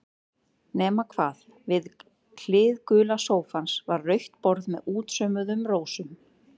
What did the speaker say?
Nema hvað, við hlið gula sófans var rautt borð með útsaumuðum rósum.